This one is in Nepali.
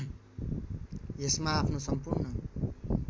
यसमा आफ्नो सम्पूर्ण